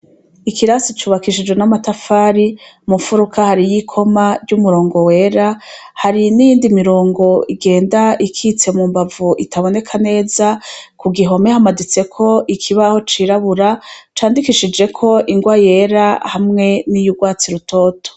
Ikirasi cubakishijwe n'amatafari. Mu mfuruka hariyo, ikoma ry'umurongo wera, hari n'iyindi mirongo igenda ikitse mu mbavu, itaboneka neza. Ku gihome hamaditseko ikibaho cirabura, candikishijeko ingwa yera hamwe niy' urwatsi rutoto.